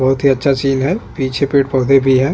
बहुत ही अच्छा सीन है पीछे पेड़ - पौधे भी है।